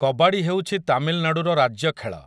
କବାଡ଼ି ହେଉଛି ତାମିଲନାଡୁର ରାଜ୍ୟ ଖେଳ ।